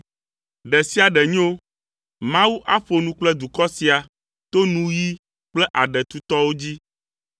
Ɖe sia ɖe nyo, Mawu aƒo nu kple dukɔ sia to nuyi kple aɖe tutɔwo dzi,